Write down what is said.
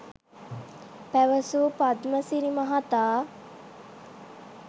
පැවසූ පද්මසිරි මහතා